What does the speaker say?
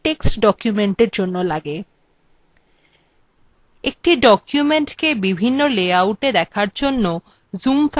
একটি document বিভিন্ন লেআউটে দেখার জন্য zoom factor কমাতে এটি ব্যবহার করা হয়